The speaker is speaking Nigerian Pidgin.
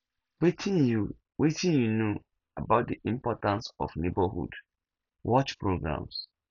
wetin you wetin you know about di importance of neighborhood watch programs